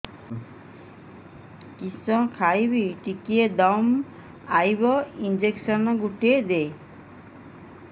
କିସ ଖାଇମି ଟିକେ ଦମ୍ଭ ଆଇବ ଇଞ୍ଜେକସନ ଗୁଟେ ଦେ